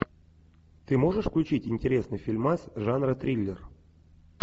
ты можешь включить интересный фильмас жанра триллер